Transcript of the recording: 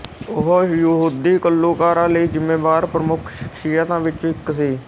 ਉਹ ਯਹੂਦੀ ਘੱਲੂਘਾਰੇ ਲਈ ਜ਼ਿੰਮੇਵਾਰ ਪ੍ਰਮੁੱਖ ਸ਼ਖ਼ਸੀਅਤਾਂ ਵਿੱਚੋਂ ਇੱਕ ਸੀ